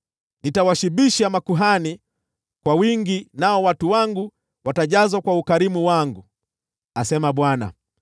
Nitawashibisha makuhani kwa wingi, nao watu wangu watajazwa kwa ukarimu wangu,” asema Bwana .